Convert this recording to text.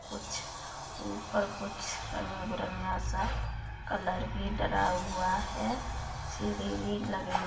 कुछ ऊपर कुछ रंग-बिरंगा सा कलर भी करा हुआ हैं सीढ़ी भी लगी --